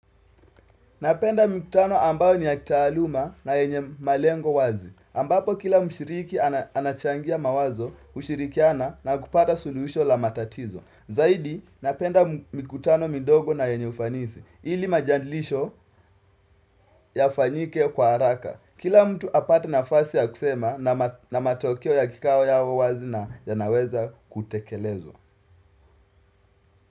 Napenda mkutano ambayo ni ya kitaaluma na yenye malengo wazi. Ambapo kila mshiriki anachangia mawazo, ushirikiana na kupata suluhisho la matatizo. Zaidi, napenda mikutano midogo na yenye ufanisi. Ili majandilisho ya fanyike kwa haraka. Kila mtu apate na fasi ya kusema na matokeo ya kikao ya wazi na ya naweza kutekelezwa.